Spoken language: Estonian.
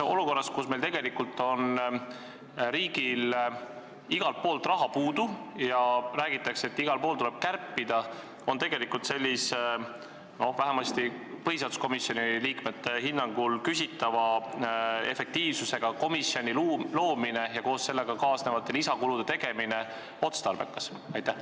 Kas olukorras, kus riigil on raha puudu ja räägitakse, et igalt poolt tuleb kärpida, on otstarbekas luua sellist komisjoni, mis vähemasti põhiseaduskomisjoni liikmete hinnangul on küsitava efektiivsusega, koos kaasnevate lisakuludega?